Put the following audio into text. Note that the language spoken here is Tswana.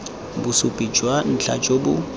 bosupi jwa ntlha jo bo